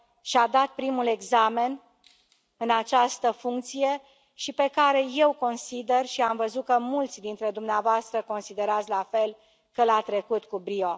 și a dat primul examen în această funcție și pe care eu consider, și am văzut că mulți dintre dumneavoastră considerați la fel, că l a trecut cu brio.